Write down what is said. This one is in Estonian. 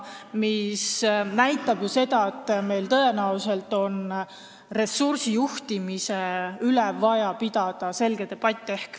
... mis näitab, et meil on tõenäoliselt vaja ressursijuhtimise üle debatti pidada.